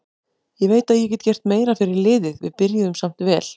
Ég veit að ég get gert meira fyrir liðið, við byrjuðum samt vel.